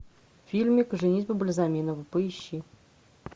фильмик женитьба бальзаминова поищи